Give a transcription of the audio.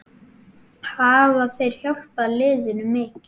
Hafa þeir hjálpað liðinu mikið?